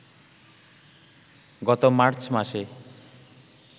গত মার্চ মাসে